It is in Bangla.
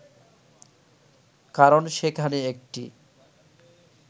কারণ সেখানে একটি